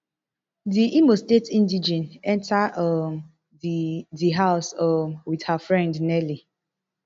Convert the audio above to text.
di imo state indigene enta um di di house um wit her friend nelly